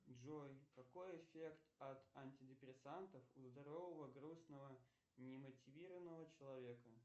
джой какой эффект от антидепрессантов у здорового грустного немотивированного человека